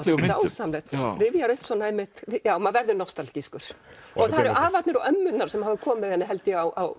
dásamlegt rifjar upp svona einmitt já maður verður nostalgískur og það eru afarnir og ömmurnar sem hafa komið henni held ég á